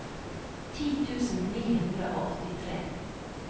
ti tusen ni hundre og åttitre